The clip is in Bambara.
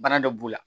Bana dɔ b'u la